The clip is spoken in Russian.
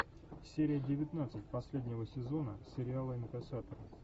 серия девятнадцать последнего сезона сериала инкасатор